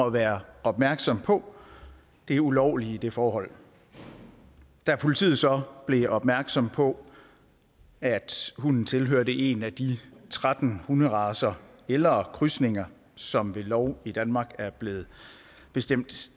at være opmærksom på det ulovlige i det forhold da politiet så blev opmærksom på at hunden tilhørte en af de tretten hunderacer eller krydsninger som ved lov i danmark er blevet bestemt